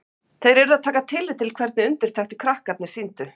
Þeir urðu að taka tillit til hvernig undirtektir krakkarnir sýndu.